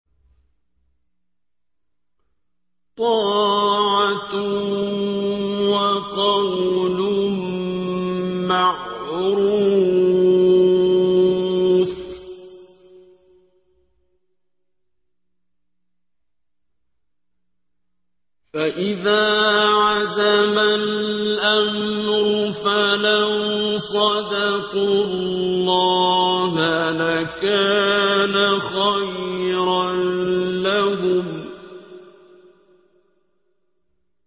طَاعَةٌ وَقَوْلٌ مَّعْرُوفٌ ۚ فَإِذَا عَزَمَ الْأَمْرُ فَلَوْ صَدَقُوا اللَّهَ لَكَانَ خَيْرًا لَّهُمْ